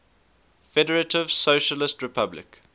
federative socialist republic